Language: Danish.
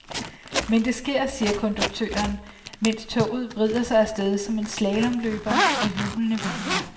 Men det sker, siger konduktøren, mens toget vrider sig af sted som en slalomløber og hjulene hviner.